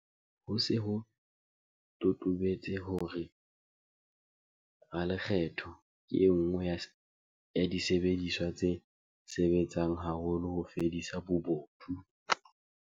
Ho se ho totobetse hore 'ralekgetho' ke e nngwe ya disebediswa tse sebetsang haholo ho fedisa bobodu.